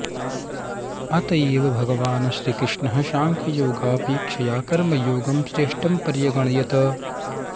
अत एव भगवान् श्रीकृष्णः साङ्ख्ययोगापेक्षया कर्मयोगं श्रेष्ठं पर्यगणयत्